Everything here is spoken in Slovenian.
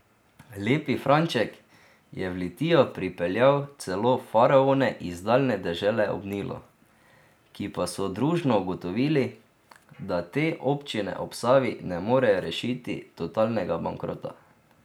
Lepi Franček je v Litijo pripeljal celo faraone iz daljne dežele ob Nilu, ki pa so družno ugotovili, da te občine ob Savi ne morejo rešiti totalnega bankrota.